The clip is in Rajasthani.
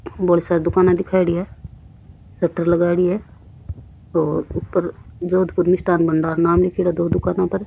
बोली सारी दुकाना दिखायोडी है सटर लगायोडी है और ऊपर जोधपुरी मिस्ठान भंडार नाम लिख्योड़ो है दो दुकान पर।